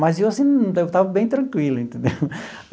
Mas eu assim eu estava bem tranquilo, entendeu?